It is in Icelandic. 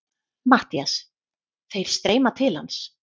MATTHÍAS: Þeir streyma til hans.